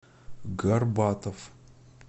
горбатов